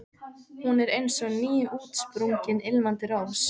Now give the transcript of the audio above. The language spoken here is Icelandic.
Jákvæður skilningur á kynlífinu einkennir einnig framsetningu